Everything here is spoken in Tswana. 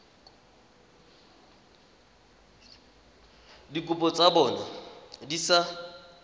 dikopo tsa bona di sa